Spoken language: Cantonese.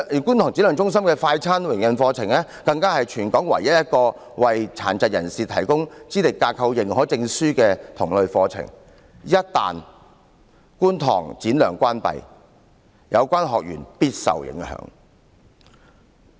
觀塘展亮中心的"快餐店營運課程"更是全港唯一一個為殘疾人士提供資歷架構認可證書的同類課程；一旦觀塘展亮中心關閉，其學員必定會受到影響。